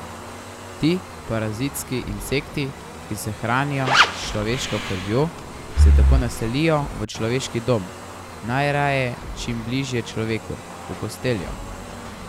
Ti parazitski insekti, ki se hranijo s človeško krvjo, se tako naselijo v človeški dom, najraje čim bliže človeku, v posteljo.